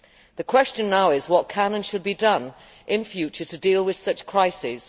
The question now is, what can and should be done in future to deal with such crises?